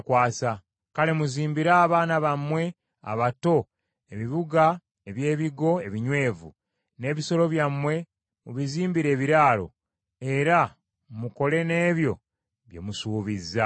Kale muzimbire abaana bammwe abato ebibuga eby’ebigo ebinywevu, n’ebisolo byammwe mubizimbire ebiraalo, era mukole n’ebyo bye musuubizza.”